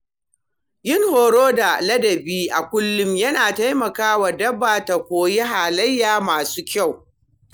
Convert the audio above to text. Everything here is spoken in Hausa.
Yin horo da ladabi a kullum yana taimaka wa dabba ta koyi halaye masu kyau.